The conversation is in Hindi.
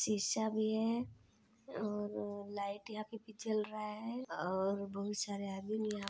शीशा भी है और अअअ लाइट यहाँ पर भी जल रहा है और बहुत सारे आदमी भी यहाँ--